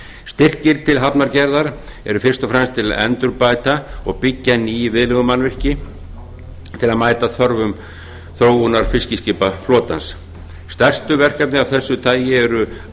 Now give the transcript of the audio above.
styrkir til hafnargerðar eru fyrst og fremst til að endurbæta og byggja ný viðlegumannvirki til að mæta þörfum þróunar fiskiskipaflotans stærstu verkefni af þessu tagi eru